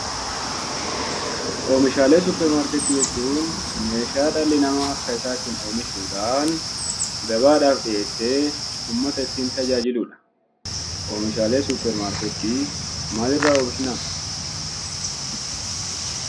Oomishaalee suppermaarketii jechuun meeshaa dhalli namaa harka isaatiin oomishuudhaan gabaadhaaf dhiyeessee ummata ittiin tajaajiluu dha. Oomishaalee suppermaarketii maalirraa oomishna?